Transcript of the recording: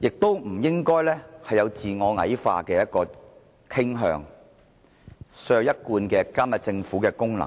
大家不應該有自我矮化的傾向，削弱我們一貫監察政府的功能。